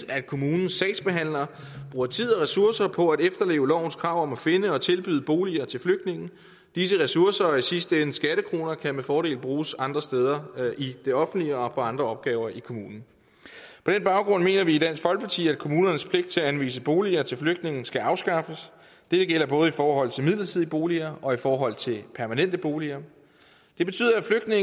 at kommunens sagsbehandlere bruger tid og ressourcer på at efterleve lovens krav for at finde og tilbyde boliger til flygtningene disse ressourcer og i sidste ende skattekroner kan med fordel bruges andre steder i det offentlige og på andre opgaver i kommunen på den baggrund mener vi i dansk folkeparti at kommunernes pligt til at anvise boliger til flygtninge skal afskaffes det gælder både i forhold til midlertidige boliger og i forhold til permanente boliger det betyder at